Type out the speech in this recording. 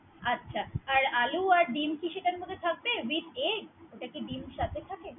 আচ্ছা আলু আর ডিম কি সেটার মধ্যে থাকবে with egg ওটা কি ডিম সাথে থাকে?